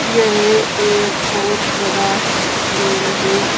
यह एक बहोत बड़ा ट्यूबवेल है।